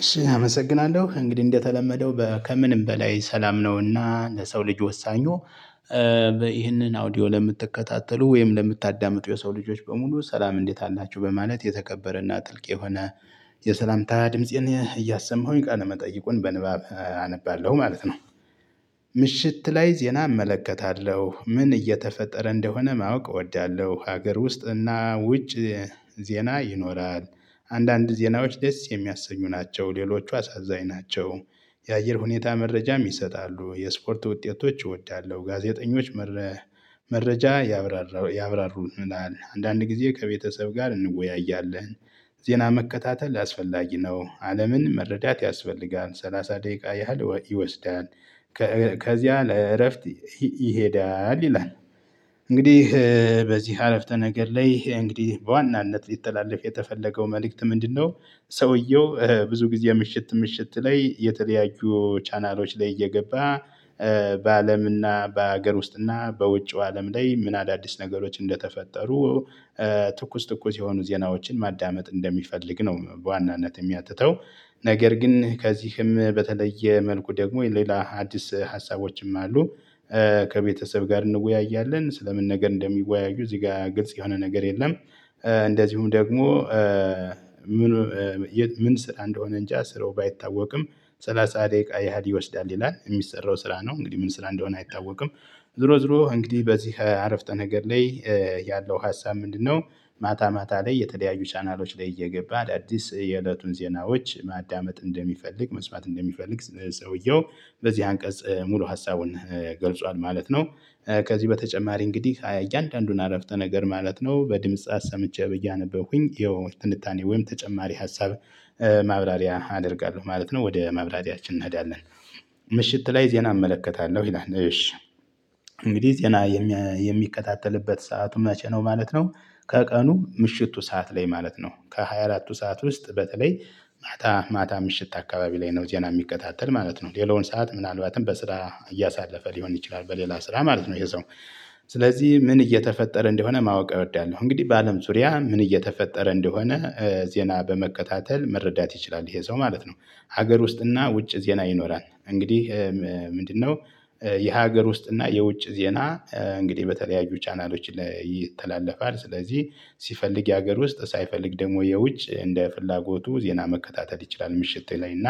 እሺ አመሰግናለሁ እንግዲህ እንደተለመደው ከምንም በላይ ሰላም ነውና ለሰው ልጅ ወሳኙ ይህንን አውዲዮ ለምትከታተሉ ወይም ለምታዳምጡ የሰው ልጆች በሙሉ ሰላም እንዴት አላቸሁ በማለት የተከበረና ጥልቅ የሆነ የሰላምታ ድምፄን እያሰማሁኝ ቃለ መጠይቁን በንባብ አነባለሁ ማለት ነው። ይህንን አውዲዮ ለምትከታተሉ ወይም ለምታዳምጡ የሰው ልጆች በሙሉ ሰላም እንዴት አላቸሁ በማለት የተከበረና ጥልቅ የሆነ የሰላምታ ድምፄን እያሰማሁኝ ቃለ መጠይቁን በንባብ አነባለሁ ማለት ነው። ምሽት ላይ ዜና እመለከታለሁ ምን እየተፈጠረ እንደሆነ ማወቅ እወዳለሁ ሀገር ውስጥ እና ውጭ ዜና ይኖራል። አንዳንድ ዜናዎች ደስ የሚያሰኙ ናቸው ሌሎቹ አሳዛኝ ናቸው። መረጃ ያብራሩልናል አንዳንድ ጊዜ ከቤተሰብ ጋር እንወያያለን። ዜና መከታተል አስፈላጊ ነው። አለምን መረዳት ያስፈልጋል ሰላሳ ደቂቃ ያህል ይወስዳል። ከዚያ ለእረፍት ይሄዳል ይላል። እንግዲህ በዚህ አረፍተ ነገር ላይ እንግዲህ በዋናነት ሊተላለፍ የተፈለገው መልእክት ምንድነው? ሰውየው ብዙ ጊዜ ምሽት ምሽት ላይ የተለያዩ ቻናሎች ላይ እየገባ በአለምና በሀገር ውስጥና በውጪው አለም ላይ ምን አዳዲስ ነገሮች እንደተፈጠሩ ትኩስ ትኩስ የሆኑ ዜናዎችን ማዳመጥ እንደሚፈልግ ነው በዋናነት የሚያትተው። ነገር ግን ከዚህም በተለየ መልኩ ደግሞ የሌላ አዲስ ሀሳቦችም አሉ። ከቤተሰብ ጋር እንወያያለን ስለምን ነገር እንደሚወያዩ እዚህ ጋር ግልጽ የሆነ ነገር የለም። እንደዚሁም ደግሞ ምን? ምን ስራ እንደሆነ እንጃ ስራው ባይታወቅም ሰላሳ ደቂቃ ያህል ይወስዳል ይላል። የሚሰራው ስራ ነው እንግዲህ ምን ስራ እንደሆነ አይታወቅም። ዝሮ ዝሮ እንግዲህ በዚህ አረፍተ ነገር ላይ ያለው ሀሳብ ምንድነው? ማታ ማታ ላይ የተደያዩ ቻናሎች ላይ እየገባ ዳዲስ የእለቱን ዜናዎች ማዳመጥ እንደሚፈልግ መስማት እንደሚፈልግ ሰውየው በዚህ አንቀጽ ሙሉ ሀሳቡን ገልጿል ማለት ነው። ከዚህ በተጨማሪ እንግዲህ እያንዳንዱን አረፍተ ነገር ማለት ነው በድምጽ አሰምቼ ብዬ እያነበብኩኝ የውን ትንታኔ ወይም ተጨማሪ ሀሳብ ማብራሪያ አደርጋለሁ ማለት ነው። ወደ ማብራሪያችን እንሄዳለን። ምሽት ላይ ዜና እመለከታለሁ ይላል። እሺ እንግዲህ ዜና የሚከታተልበት ሰአቱም መቼ ነው? ማለት ነው ከቀኑ ምሽቱ ሰዓት ላይ ማለት ነው ከሃያ አራቱ ሰዓት ውስጥ በተለይ ማታ ማታ ምሽት አካባቢ ላይ ነው ዜና የሚከታተል ማለት ነው። ሌላውን ሰዓት ምናልባትም በስራ እያሳለፈ ሊሆን ይችላል በሌላ ስራ ማለት ነው ይሄ ሰው። ስለዚህ ምን እየተፈጠረ እንደሆነ ማወቅ እወዳለሁ እንግዲህ በአለም ዙሪያ ምን እየተፈጠረ እንደሆነ ዜና በመከታተል መረዳት ይችላል ይሄ ሰው ማለት ነው። ሀገር ውስጥና ውጭ ዜና ይኖራል እንግዲህ። ምንድነው? የሀገር ውስጥና የውጭ ዜና እንግዲህ በተለያዩ ቻናሎች ላይ ይተላለፋል። ስለዚህ ሲፈልግ የሀገር ውስጥ ሳይፈልግ ደግሞ የውጭ እንደ ፍላጎቱ ዜና መከታተል ይችላል ምሽት ላይ እና